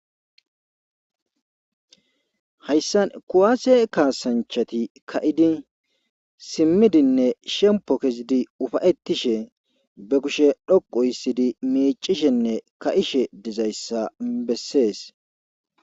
Hayssan kuwase kaasanchati ka'di simidinne shemppo ke'idi ufaytishe ba kushiya dhoqu histed miiccishenne ka'she dizzayssa besees.